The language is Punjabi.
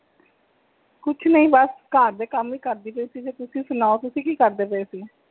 ਕੁਛ ਨਹੀਂ ਬਸ ਘਰ ਦੇ ਕੰਮ ਹੀ ਕਰਦੇ ਪਾਈ ਸੀ ਤੁਸੀਂ ਸੁਣਾਓ ਤੁਸੀਂ ਕੀ ਕਰਦੇ ਪਾਏ ਸੀ?